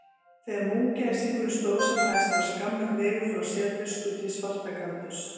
Þegar múgæsingurinn stóð sem hæst var skammur vegur frá sérvisku til svartagaldurs.